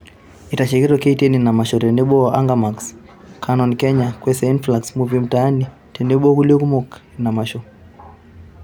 Eitashiekio KTN ina masho tenebo o Anga max, Canon Kenya, Kwese Influx, Movie Mtaani tenebo o kulie kumok ina masho